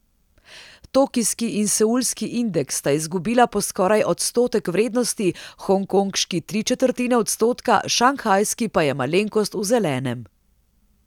Tokijski in seulski indeks sta izgubila po skoraj odstotek vrednosti, hongkonški tri četrtine odstotka, šanghajski pa je malenkost v zelenem.